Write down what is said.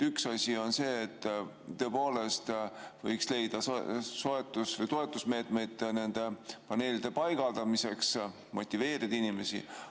Üks asi on see, et tõepoolest võiks leida toetusmeetmeid nende paneelide paigaldamiseks, motiveerida inimesi.